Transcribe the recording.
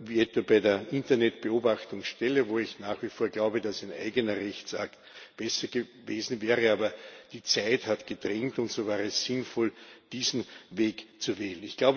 wie etwa bei der Internet Beobachtungsstelle, wo ich nach wie vor glaube, dass ein eigener Rechtsakt besser gewesen wäre. Aber die Zeit hat gedrängt und so war es sinnvoll, diesen Weg zu gehen.